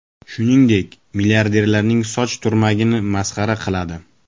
Shuningdek, milliarderning soch turmagini masxara qiladi.